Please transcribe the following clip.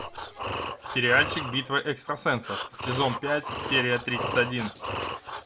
сериальчик битва экстрасенсов сезон пять серия тридцать один